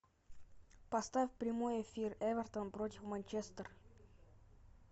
поставь прямой эфир эвертон против манчестер